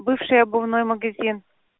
бывший обувной магазин